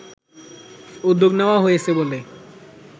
উদ্যোগ নেওয়া হয়েছে বলে